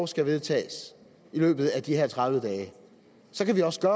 skal vedtages i løbet af de her tredive dage så kan vi også